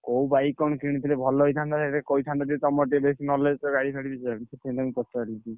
କୋଉ bike କଣ କିଣିଥିଲେ ଭଲ ହେଇଥାନ୍ତା ସେଇଟା ଟିକେ କହିଥାନ୍ତେ ଟିକେ ତମର ଟିକେ ବେଶୀ knowledge ଗାଡି ଫାଡି ବିଷୟରେ ସେଇଥିପାଇଁ ପଚାରୁଛି।